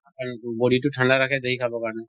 আৰু body টো ঠান্দা ৰাখে খাবৰ কাৰণে